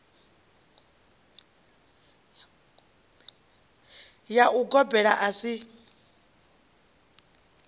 ya u gobela a si